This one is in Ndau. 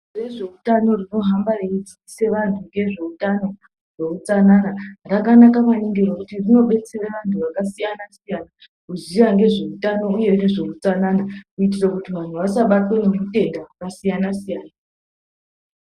Bazi rezveutano rinohamba reidzidzisa vantu ngezveutano neutsanana rakanaka maningi nekuti rinobetsera antu akasiyana-siyana kuziya ngezveutano, uye ngezve utsanana. Kuitira kuti vantu vasabatwe ngeutenda hwakasiyana-siyana.